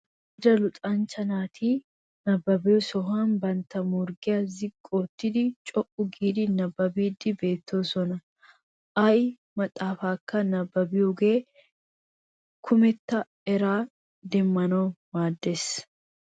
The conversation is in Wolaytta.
Amarida luxanchcha naati nabbabbiya sohuwan bantta morggiya ziqqi ottidi co"u giidi nabbabbiiddi beettoosona. Ay maxxaafaakka nabbabbiyoogee kumetta eraas demmanawu maaddes.